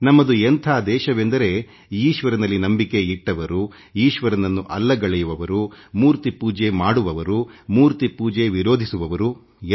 ನಮ್ಮದು ಎಂಥ ದೇಶವೆಂದರೆ ಆಸ್ತಿಕ ಮತ್ತು ನಾಸ್ತಿಕ ಇಬ್ಬರೂ ಇದ್ದಾರೆಮೂರ್ತಿ ಪೂಜೆ ಮಾಡುವವರು ಮೂರ್ತಿ ಪೂಜೆ ವಿರೋಧಿಸುವವರೂ ಇದ್ದಾರೆ